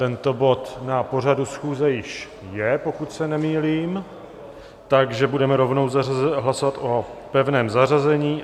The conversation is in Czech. Tento bod na pořadu schůze již je, pokud se nemýlím, takže budeme rovnou hlasovat o pevném zařazení.